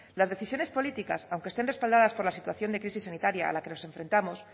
las decisiones políticas aunque estén respaldadas por la situación de crisis sanitaria a la que nos enfrentamos